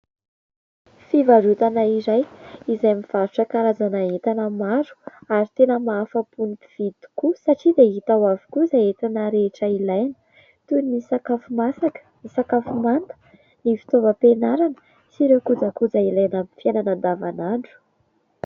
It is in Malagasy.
Fivarotana iray izay mivarotra karazana entana maro ; ary tena mahafa-po ny mpifidy tokoa satria dia hita ho avokoa izay entana rehetra ilaina toy ny : sakafo masaka, ny sakafo manta, ny fitaovam-pianarana sy ireo kojakoja ilaina amin'ny fiainana andavan'andro.